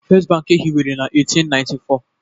First Bank e hiwere na 1894